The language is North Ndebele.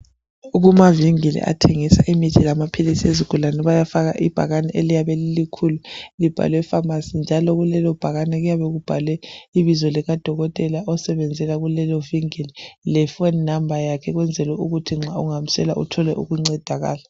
Kumavingili athengisa imithi lamaphilisi ezigulane kuyafakwa ibhakane eliyabe lilikhulu libhalwe famasi njalo kulelibhakane kuyabe kubhalwe ibizo likadokotela osebenzela kulelovingili lefoni namba yakhe ukwenzela ukuthi nxa ungamswela uthole ukusizakala